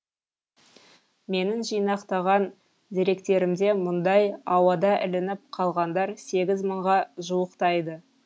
менің жинақтаған деректерімде мұндай ауада ілініп қалғандар сегіз мыңға жуықтайды